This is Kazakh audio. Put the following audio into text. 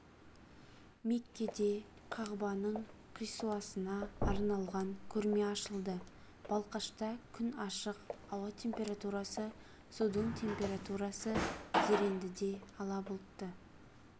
меккеде қағбаның қисуасына арналған көрме ашылды балқашта күн ашық ауа температурасы судың температурасы зерендіде ала бұлтты